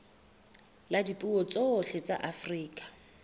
la dipuo tsohle tsa afrika